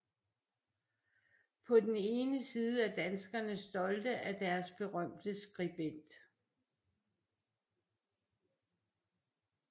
På den ene side er danskerne stolte af deres berømte skribent